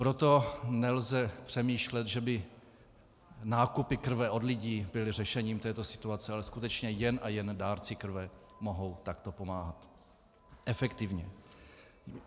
Proto nelze přemýšlet, že by nákupy krve od lidí byly řešením této situace, ale skutečně jen a jen dárci krve mohou takto pomáhat efektivně.